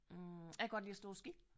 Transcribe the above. Hm jeg kan godt lide at stå på ski